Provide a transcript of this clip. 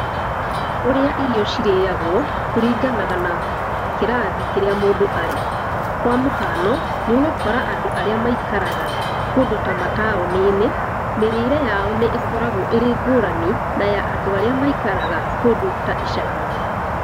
Ũrĩa irio cirĩagwo, kũringanaga na kĩrathi kĩrĩa mũndũ arĩ. Kwa mũhano, nĩ ũgũkora andũ arĩa maikaraga kũndũ ta mataũni-inĩ, mĩrĩĩre yao nĩ ĩkoragwo ĩrĩ ngũrani na ya andũ arĩa maikaraga kũndũ ta icagi-inĩ.